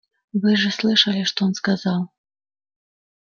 вы же слышали что он сказал